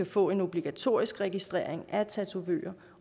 få en obligatorisk registrering af tatovører